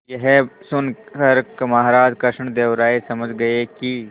यह सुनकर महाराज कृष्णदेव राय समझ गए कि